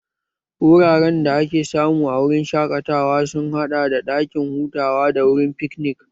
Wuraren da ake samu a wurin shaƙatawa sun haɗa da ɗakin hutawa da wurin fiknik